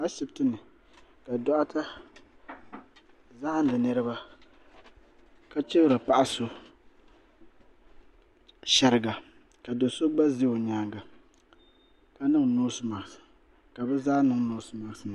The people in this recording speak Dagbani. Ashiptini ka doɣaya zahindi niriba ka chibri paɣa so sheriga ka do'so gba za o nyaanga ka niŋ noosi maaki ka bɛ zaa niŋ noosi maaki nima.